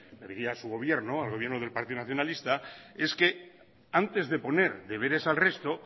le diría a su gobierno al gobierno del partido nacionalista es que antes de poner deberes al resto